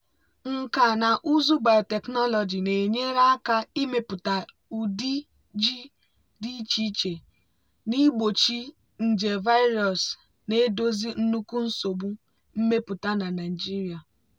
nkà na ụzụ biotechnology na-enyere aka ịmepụta ụdị ji dị iche iche na-egbochi nje virus na-edozi nnukwu nsogbu mmepụta na nigeria.